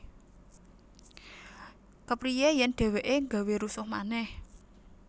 Kepriye yen dheweke gawé rusuh manèh